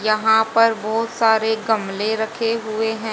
यहां पर बहुत सारे गमले रखे हुए हैं।